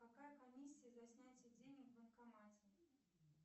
какая комиссия за снятие денег в банкомате